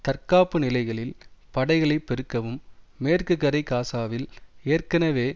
தற்காப்பு நிலைகளில் படைகளை பெருக்கவும் மேற்கு கரை காசாவில் ஏற்கனவே